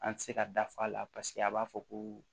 An ti se ka dafaa la paseke a b'a fɔ ko